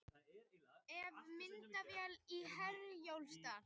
Vefmyndavél í Herjólfsdal